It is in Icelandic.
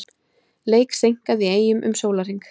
Leik seinkað í Eyjum um sólarhring